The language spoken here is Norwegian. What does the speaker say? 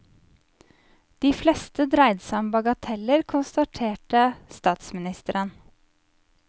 De fleste dreide seg om bagateller, konstaterte statsministeren.